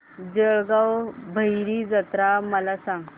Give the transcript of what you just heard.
जळगाव भैरी जत्रा मला सांग